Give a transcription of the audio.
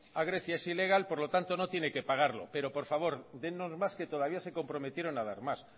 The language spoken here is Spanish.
a grecia es ilegal por lo tanto no tiene que pagarlo pero por favor dennos más que todavía se comprometieron a dar más